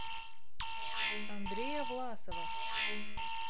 андрея власова